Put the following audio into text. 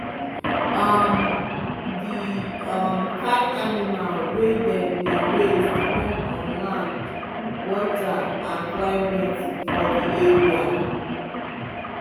um the um kind animal wey dem dey raise depend on land water and climate for di area.